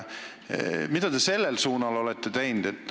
Mida te selles suhtes olete teinud?